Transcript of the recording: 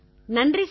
நன்றி சார்